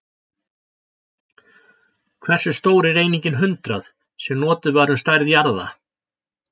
Hversu stór er einingin hundrað, sem notuð var um stærð jarða?